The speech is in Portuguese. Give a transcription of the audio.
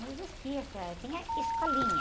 Não existia, essa, tinha escolinha.